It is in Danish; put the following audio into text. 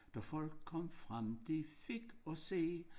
Da folk kom frem de fik at se